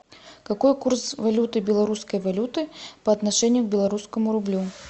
какой курс валюты белорусской валюты по отношению к белорусскому рублю